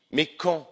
oui! Mais quand?